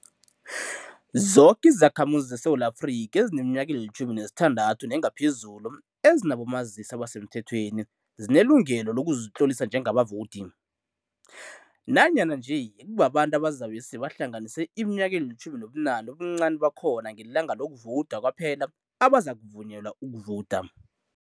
Zoke izakhamuzi zeSewula Afrika ezineminyaka eli-16 nengaphezulu ezinabomazisi abasemthethweni zinelungelo lokuzitlolisa njengabavowudi, nanyana nje kubabantu abazabe seba hlanganise iminyaka eli-18 ubuncani bakhona ngelanga lokuvowuda kwaphela, abazakuvunyelwa ukuvowuda.